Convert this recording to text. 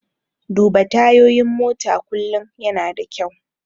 Duba tayoyin mota kullum yana da kyau.